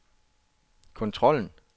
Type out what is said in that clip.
kontrollen